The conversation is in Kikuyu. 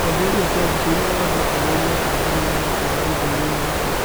Kĩambĩrĩria kĩa mbica, Innoro andũ arĩa me kambĩ nĩmaraigĩra ũndũireinĩ ũcio